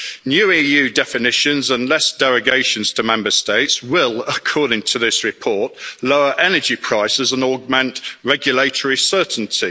New EU definitions and less derogations to Member States will, according to this report, lower energy prices and augment regulatory certainty.